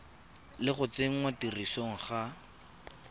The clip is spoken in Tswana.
le go tsenngwa tirisong ga